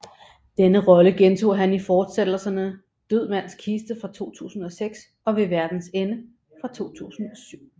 Denne rolle gentog han i fortsættelserne Død mands kiste fra 2006 og Ved verdens ende fra 2007